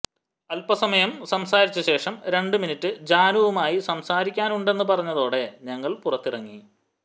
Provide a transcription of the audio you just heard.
അൽപ്പസമയം സംസാരിച്ചശേഷം രണ്ടു മിനിറ്റ് ജാനുവുമായി സംസാരിക്കാനുണ്ടെന്ന് പറഞ്ഞതോടെ ഞങ്ങൾ പുറത്തിറങ്ങി